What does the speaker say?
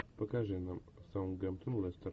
покажи нам саутгемптон лестер